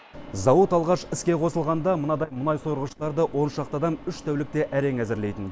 зауыт алғаш іске қосылғанда мынадай мұнай сорғыштарды он шақты адам үш тәулікте әрең әзірлейтін